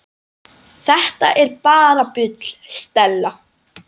Þetta er bara bull, Stella.